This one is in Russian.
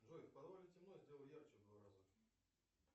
джой в подвале темно сделай ярче в два раза